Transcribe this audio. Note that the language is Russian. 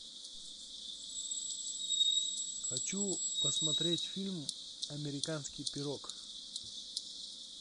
хочу посмотреть фильм американский пирог